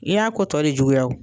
I y'a ko tɔ de juguya o